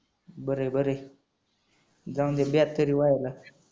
बर आहे बर आहे जाऊनदे बेट तरी व्हायला.